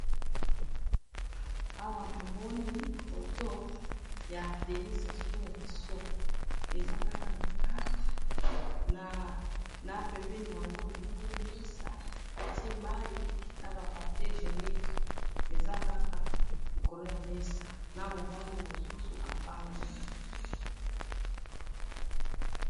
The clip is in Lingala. Awa namoni foto ya DENIS SASSOUNGESSO eza kaka na kati na pembeni na yango namoni mesa batiye mayi na papier hygienique eza kaka na likolo ya mesa na mobali mosusu avandi.